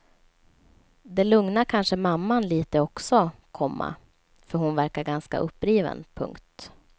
Det lugnar kanske mamman litet också, komma för hon verkar ganska uppriven. punkt